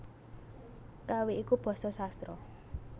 Kawi iku basa sastra